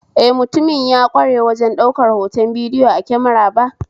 Eh, mutumin ya kware wajen daukar hoton bidiyo a kemara ba